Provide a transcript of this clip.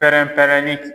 Pɛrɛn pɛrɛnni